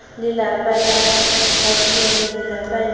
lelapa la abiele lelapa le